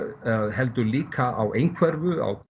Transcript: heldur líka á einhverfu á